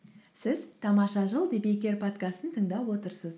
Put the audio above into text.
сіз тамаша жыл подкастын тыңдап отырсыз